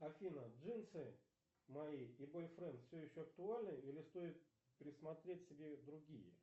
афина джинсы мои и бойфренд все еще актуальны или стоит присмотреть себе другие